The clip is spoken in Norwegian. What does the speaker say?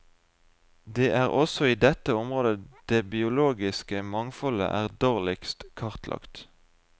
Det er også i dette området det biologiske mangfoldet er dårligst kartlagt.